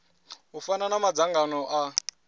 u fana na madzangano a